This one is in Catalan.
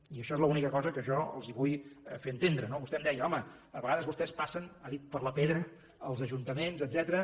i això és l’única cosa que jo els vull fer entendre no vostè em deia home a vegades vostès passen ha dit per la pedra els ajuntaments etcètera